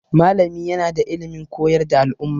Malami yana da ilimin koyar da al'umma.